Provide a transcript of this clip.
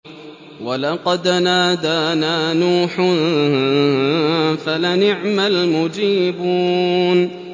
وَلَقَدْ نَادَانَا نُوحٌ فَلَنِعْمَ الْمُجِيبُونَ